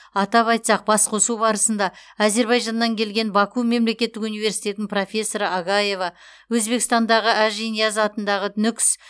атап айтсақ басқосу барысында әзербайжаннан келген баку мемлекеттік университетінің профессоры агаева өзбекстандағы ажинияз атындағы нүкіс